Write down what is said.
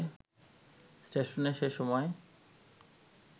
ষ্টেশনে সে সময়